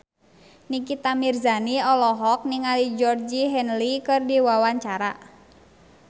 Nikita Mirzani olohok ningali Georgie Henley keur diwawancara